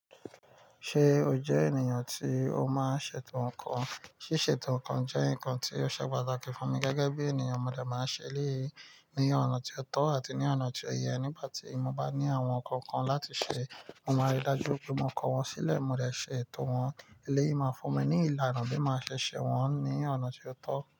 Ṣé o jẹ́ ènìyàn tí o máa ń ṣe ètò ǹkan? Sí ṣe ètò ǹkan jẹ́ ǹkan tí ó ṣe pàtàkì fún mi gẹ́gẹ́ bí ènìyàn. Mo dè máa ń ṣe eléyii ní ọ̀nà tí ó tọ́ àti ní ọ̀nà tí ó yẹ nígbà tí mo bá ní àwọn ǹkan kan láti ṣe. Mo máa rí i dájú wipé mo kọ wọ́n sílẹ̀, mo lè ṣe ètò wọ́n eléyii máa fún mi ní ìlànà bí ma maa ṣe ṣe wọ́n ní ọ̀nà tí ó tọ́.